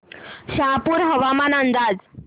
शहापूर हवामान अंदाज